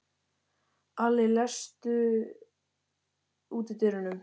Alli, læstu útidyrunum.